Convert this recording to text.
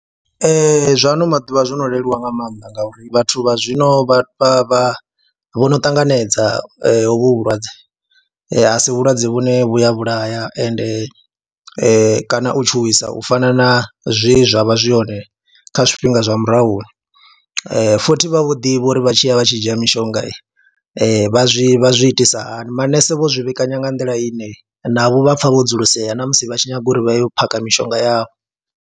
Ee, zwa ano maḓuvha zwo no leluwa nga maanḓa ngauri vhathu vha zwino vha vha vha, vho no ṱanganedza hovhu vhulwadze a si vhulwadze vhune vhu a vhulaya ende kana u tshuwisa u fana na zwe zwi zwa vha zwi hone kha zwifhingani zwa murahuni, futhi vha vho ḓivha uri vha tshi ya vha tshi dzhia mishonga vha zwi vha zwi itisa hani, manese vho zwi vhekanya nga nḓila ine navho vha pfha vho dzulisea na musi vha tshi nyaga uri vha yo phakha mishonga yavho.